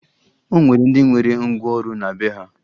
O nwere ndị nwere ngwaọrụ na be ha